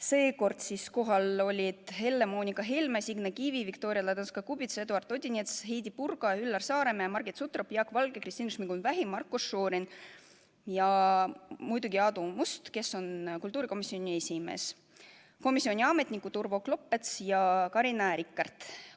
Seekord olid kohal Helle-Moonika Helme, Signe Kivi, Viktoria Ladõnskaja-Kubits, Eduard Odinets, Heidy Purga, Üllar Saaremäe, Margit Sutrop, Jaak Valge, Kristina Šmigun-Vähi, Marko Šorin ja muidugi Aadu Must, kes on kultuurikomisjoni esimees, ning komisjoni ametnikud Urvo Klopets ja Carina Rikart.